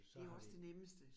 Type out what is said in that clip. Det jo også det nemmeste